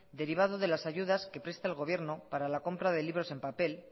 derivado de las ayudas que presta el gobierno para la compra de libros en papel